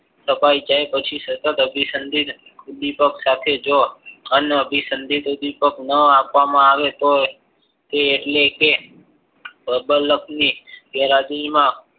તાપે જાય પછી સતત અભિસંદિત ઉદ્વિપક સાથે તેઓ ખાન અભિસંદિત ઉદ્વિપક ના આપવામાં આવે તો એટલે કે પ્રબાલકની ગેરહાજરીમાં